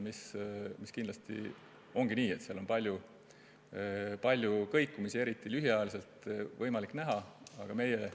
Kindlasti nii see ongi, eriti lühiajaliselt on võimalik näha palju kõikumisi.